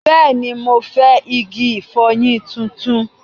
Bẹ́ẹ̀ni, mo fẹ́ igi ìfọyín tuntun